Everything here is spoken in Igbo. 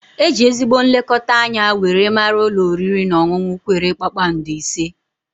E ji ezigbo nlekọta anya were mara ulọ oriri na ọṅụnụ kwere kpakpando ise